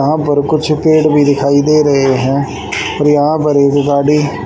हां पर कुछ पेड़ भी दिखाई दे रहे हैं और यहां पर एक गाड़ी--